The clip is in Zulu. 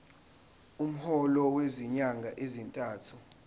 umholo wezinyanga ezintathu